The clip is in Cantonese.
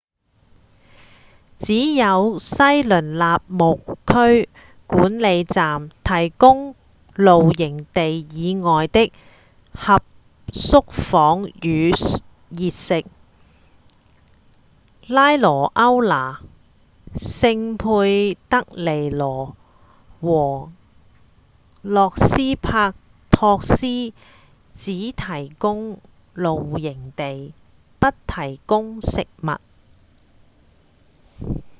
只有西雷納林區管理站提供露營地以外的合宿房與熱食拉萊歐那、聖佩德里羅和洛斯帕托斯只提供露營地不提供食物